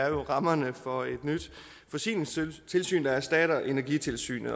jo er rammerne for et nyt forsyningstilsyn der erstatter energitilsynet